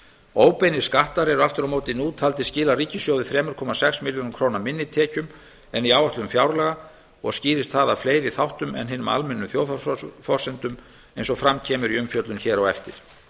óbeinir skattar eru aftur á móti nú taldir skila ríkissjóði þrjú komma sex milljörðum króna minni tekjum en í áætlun fjárlaga og skýrist það af fleiri þáttum en hinum almennu þjóðhagsforsendum eins og fram kemur í umfjöllun hér á eftir